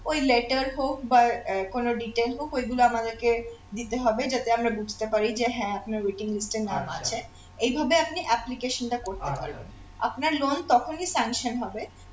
ওই letter হোক বা আহ কোন detail হোক ঐগুলো আমাদেরকে দিতে হবে যাতে আমরা বুঝতে পারি যে হ্যাঁ আপনার waiting list এ নাম আছে এইভাবে আপনি application টা করতে পারবেন আপনার loan তখনি sanction হবে